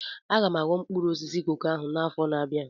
Aga m aghọ mkpụrụ osisi koko a n'afọ na-abịa